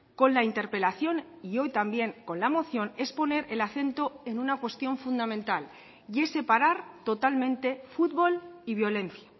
con la interpelación y hoy también con la moción es poner el acento en una cuestión fundamental y es separar totalmente futbol y violencia